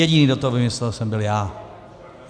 Jediný, kdo to vymyslel, jsem byl já.